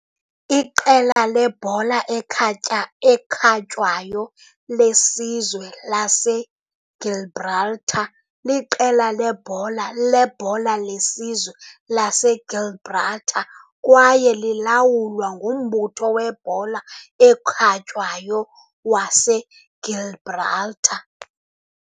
Iqela lebhola ekhatya ekhatywayo lesizwe laseGibraltar liqela lebhola lebhola lesizwe laseGibraltar kwaye lilawulwa nguMbutho weBhola eKhatywayo waseGibraltar.